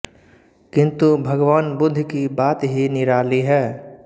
किन्तु भगवान बुद्ध की बात ही निराली है